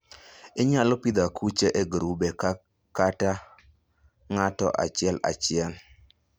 Inyalo pidho akuche e grube kata ng'ato achiel achiel.